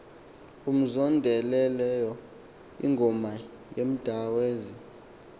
umzondelelo ingoma yemdazwe